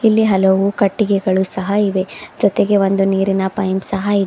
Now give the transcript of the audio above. ಇಲ್ಲಿ ಹಲವು ಕಟ್ಟಿಗೆಗಳು ಸಹಾ ಇವೆ ಜೊತೆಗೆ ಒಂದು ನೀರಿನ ಪೈಂಪ್ ಸಹಾ ಇ --